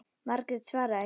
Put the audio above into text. Margrét svaraði ekki.